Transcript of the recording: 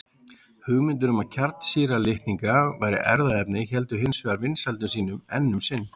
Hugmyndir um að kjarnsýra litninga væri erfðaefni héldu hins vegar vinsældum sínum enn um sinn.